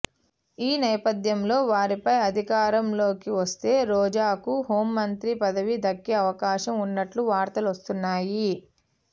ఈ నేపథ్యంలో వారిపై అధికారం లోకి వస్తే రోజాకు హోంమంత్రి పదవి దక్కే అవకాశం ఉన్నట్లు వార్తలు వస్తున్నాయి